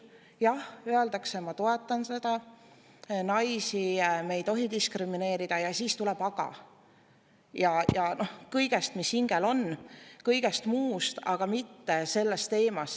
Jah, öeldakse, ma toetan seda, naisi me ei tohi diskrimineerida, ja siis tuleb "aga": kõigest, mis hingel on, kõigest muust, aga mitte sellest teemast.